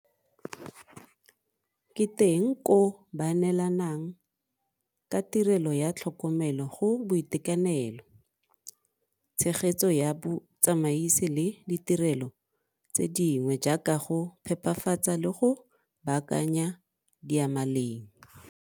Ke teng koo ba neelanang ka tirelo ya tlhokomelo go boitekanelo, tshegetso ya botsamaisi le ditirelo tse dingwe jaaka go phepafatsa le go baakanya diyamaleng.